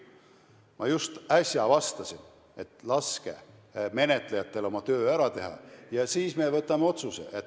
Ma just äsja vastasin, et laske menetlejatel oma töö ära teha ja siis me võtame vastu otsuse.